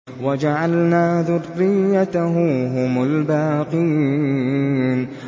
وَجَعَلْنَا ذُرِّيَّتَهُ هُمُ الْبَاقِينَ